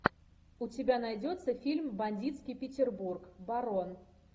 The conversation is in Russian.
у тебя найдется фильм бандитский петербург барон